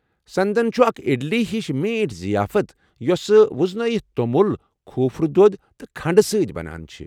سندن چھُ اکھ اِڈلی ہش میٹھ ضِیافت یُوسہٕ وزنٲیِتھ تومُل، كھوٗپرٕ دۄد تہٕ کھنٛڈٕ سۭتۍ بَنان چھے٘ ۔